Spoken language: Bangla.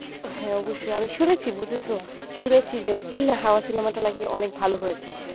হ্যাঁ অবশ্যই আমি শুয়েছি বুজেছ শুনেছি যে হওয়া সিনেমাটা নাকি অনেক ভালো হয়েছে